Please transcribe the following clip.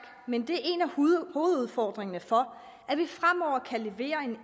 men det af hovedudfordringerne for at vi fremover kan levere en